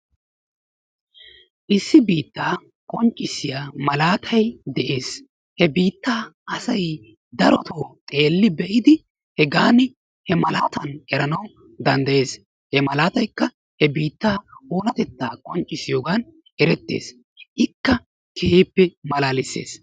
Issi biittaa qonccisiya malaatay de'ees. He biittaa asay darotoo xeelli be'idi hegaan he malaatan eranawu danddayees. he malataykka he biittaa oonatettaa qonccissiyooga erettees. ikka keehippe malaalees!